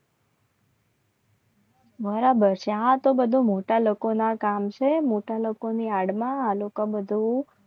બરાબર તો બધું મોટા લોકોના કામ છે. મોટા લોકોની આડમાં આ લોકો બધું